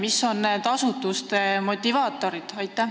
Mis on nende asutuste motivaatorid?